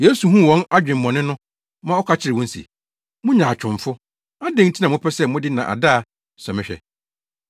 Yesu huu wɔn adwemmɔne no ma ɔka kyerɛɛ wɔn se, “Mo nyaatwomfo! Adɛn nti na mopɛ sɛ mode nnaadaa sɔ me hwɛ?